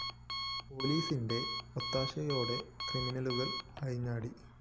പോലീസിന്റെ ഒത്താശയോടെ ക്രമിനലുകള്‍ അഴിഞ്ഞാടി